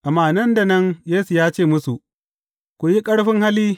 Amma nan da nan Yesu ya ce musu, Ku yi ƙarfin hali!